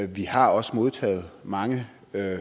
vi har også modtaget mange